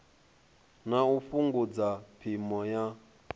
na u fhungudza phimo ya